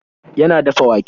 Yana dafa wake.